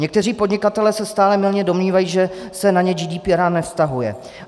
Někteří podnikatelé se stále mylně domnívají, že se na ně GDPR nevztahuje.